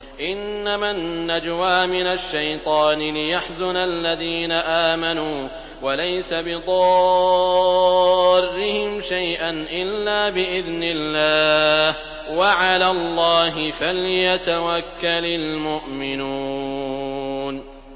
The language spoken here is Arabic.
إِنَّمَا النَّجْوَىٰ مِنَ الشَّيْطَانِ لِيَحْزُنَ الَّذِينَ آمَنُوا وَلَيْسَ بِضَارِّهِمْ شَيْئًا إِلَّا بِإِذْنِ اللَّهِ ۚ وَعَلَى اللَّهِ فَلْيَتَوَكَّلِ الْمُؤْمِنُونَ